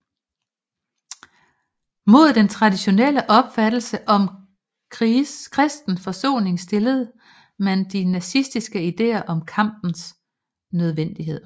Mod den traditionelle opfattelse om kristen forsoning stillede man de nazistiske idéer om kampens nødvendighed